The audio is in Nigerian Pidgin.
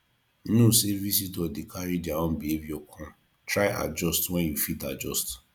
know say visitor de carry their own behavior come try adjust when you fit adjust